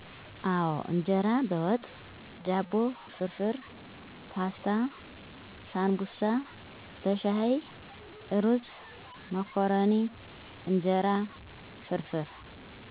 አወ እንጀራ በወጥ፣ ዳቦ ፍርፍር፣ ፓስታ፣ ሳንቡሳ በሻይ፣ እሩዝ፣ መኮረኒ፣ እንጀራ ፍርፍር።